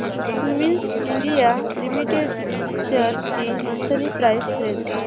Cummins India limited shares ची monthly price range